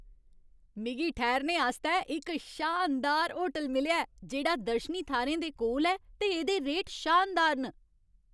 मिगी ठैह्रने आस्तै इक शानदार होटल मिलेआ ऐ जेह्ड़ा दर्शनी थाह्रें दे कोल ऐ ते एह्दे रेट शानदार न।